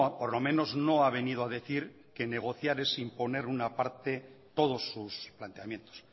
por lo menos no ha venido a decir que negociar es imponer una parte todos sus planteamientos